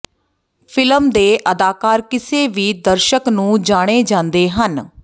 film ਦੇ ਅਦਾਕਾਰ ਕਿਸੇ ਵੀ ਦਰਸ਼ਕ ਨੂੰ ਜਾਣੇ ਜਾਂਦੇ ਹਨ